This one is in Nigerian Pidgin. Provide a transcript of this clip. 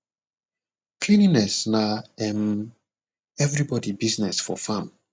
cleanliness na um everybody business for farm